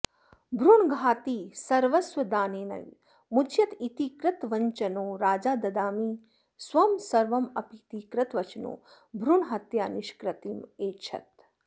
भ्रूणघाती सर्वस्वदानेनैव मुच्यत इति कृतवञ्चनो राजा ददामि स्वं सर्वमपीति कृतवचनो भ्रूणहत्यानिष्कृतिमैच्छत्